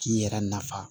K'i yɛrɛ nafa